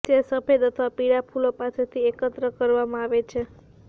તે સફેદ અથવા પીળા ફૂલો પાસેથી એકત્ર કરવામાં આવે છે